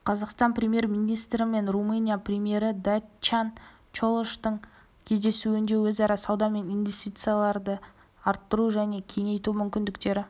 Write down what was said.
қазақстан премьер-министрі мен румыния премьері дачиан чолоштың кездесуінде өзара сауда мен инвестицияларды арттыру және кеңейту мүмкіндіктері